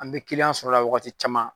An bɛ sɔrɔ o la wagati caman.